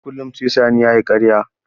Kullum sai Sani ya yi ƙarya.